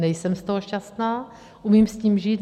Nejsem z toho šťastná, umím s tím žít.